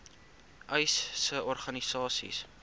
uys sê organisasies